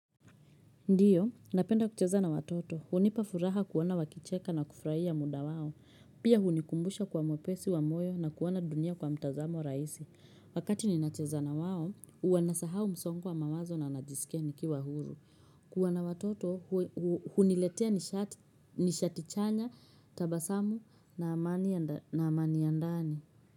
Ndiyo, napenda kucheza na watoto. Hunipa furaha kuona wakicheka na kufurahia muda wao. Pia hunikumbusha kwa mwepesi wa moyo na kuona dunia kwa mtazamo rahisi. Wakati ninacheza na wao, huwa nasahau msongo wa mawazo na najisikia nikiwa huru. Kuwa na watoto, huniletea nishati chanya tabasamu na amani ya ndani.